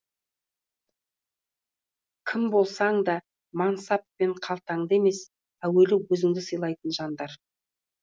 кім болсаң да мансап пен қалтаңды емес әуелі өзіңді сыйлайтын жандар